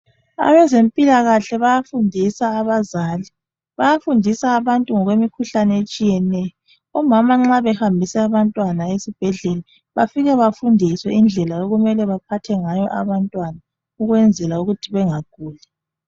Abezempilakahle bayafundisa abazali. Bayafundisa abantu ngokwemkhuhlane etshiyeneyo Omama nxa behambisa abantwana esibhedlela bafika bafundiswe indlela okumele baphathe ngayo abantwana ukwenzela ukuthi bengaguli